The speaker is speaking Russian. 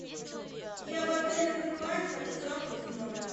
я в отеле грин лайн хочу завтрак в номер